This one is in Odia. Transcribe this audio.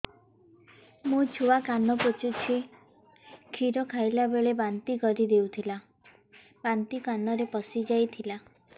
ମୋ ଛୁଆ କାନ ପଚୁଛି କ୍ଷୀର ଖାଇଲାବେଳେ ବାନ୍ତି କରି ଦେଇଥିଲା ବାନ୍ତି କାନରେ ପଶିଯାଇ ଥିଲା